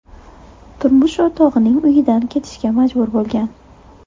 turmush o‘rtog‘ining uyidan ketishga majbur bo‘lgan.